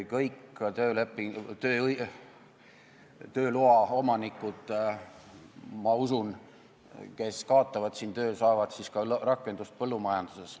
Kõik tööloa omanikud, kes kaotavad siin töö, saavad rakendust põllumajanduses.